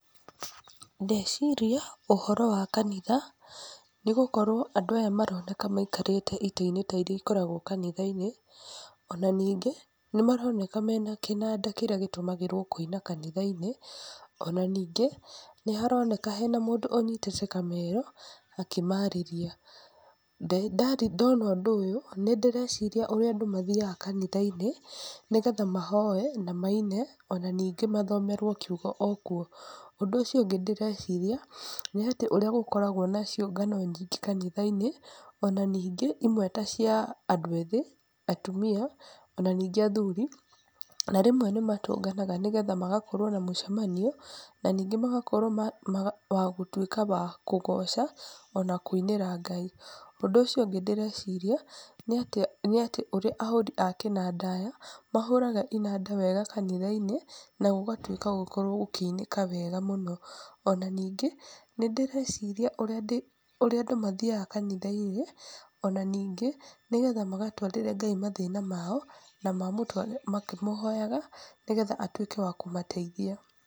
Ndeciria ũhoro wa kanitha, nĩ gũkorwo andũ aya maroneka maikarĩte itĩ-inĩ ta iria ikoragwo kanitha-inĩ, ona ningĩ, nĩ maroneka mena kĩnanda kĩrĩa gĩtũmagĩrwo kũina kanitha-inĩ, ona ningĩ, nĩ haroneka hena mũndũ ũnyitĩte kamero akĩmarĩria, ndona ũndũ ũyũ nĩndĩreciria ũrĩa andũ mathiaga kanitha-inĩ, nĩgetha mahoe, na maine, ona ningĩ mathomerwo kiugo o kuo, ũndũ ũcio ũngĩ ndĩreciria, nĩ atĩ ũrĩa gũkoragwo na ciũngano nyingĩ kanitha-inĩ, ona ningĩ imwe ta cia andũ ethĩ, atumia, ona ningĩ athuri, na rĩmwe nĩ matũnganaga, nĩgetha magakorwo na mũcemanio, na ningĩ magakorwo wa gũtuĩka wa kũgoca, ona kũinĩra Ngai, ũndũ ũcio ũngĩ ndĩreciria, nĩ atĩ nĩ atĩ ũrĩa ahũri a kĩnanda, mahũraga inanda wega kanitha-inĩ, na gũgatuĩka gũkorwo gũkĩinĩka wega mũno, ona ningĩ, nĩ ndĩreciria ũrĩa andũ mathiaga kanitha-inĩ, ona ningĩ nĩgetha magatwarĩre Ngai mathĩna mao na makĩmũhoyaga, nĩgetha atuĩke wa kũmateithia.